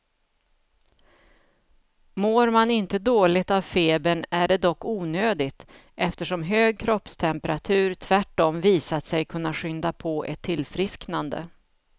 Mår man inte dåligt av febern är det dock onödigt, eftersom hög kroppstemperatur tvärtom visat sig kunna skynda på ett tillfrisknande.